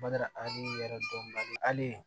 Bada yɛrɛ dɔnkilidalen ali